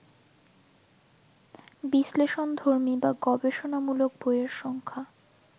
বিশ্লেষণধর্মী বা গবেষণামূলক বইয়ের সংখ্যা